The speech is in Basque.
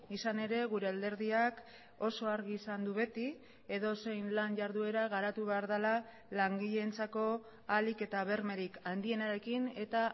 izan ere gure alderdiak oso argi izan du beti edozein lan jarduera garatu behar dela langileentzako ahalik eta bermerik handienarekin eta